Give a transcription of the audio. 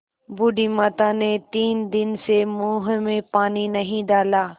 बूढ़ी माता ने तीन दिन से मुँह में पानी नहीं डाला